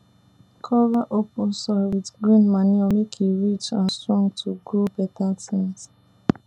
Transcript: cover open soil with green manure make e rich and strong to grow better things